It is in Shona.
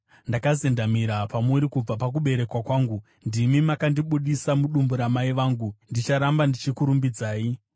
Ndakazendamira pamuri kubva pakuberekwa kwangu; ndimi makandibudisa mudumbu ramai vangu. Ndicharamba ndichikurumbidzai.